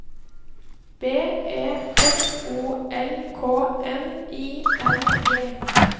B E F O L K N I N G